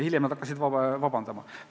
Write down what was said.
Hiljem nad olid sunnitud vabandama.